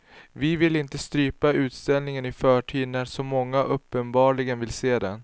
Vi vill inte strypa utställningen i förtid när så många uppenbarligen vill se den.